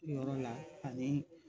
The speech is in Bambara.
Yɔrɔ la ani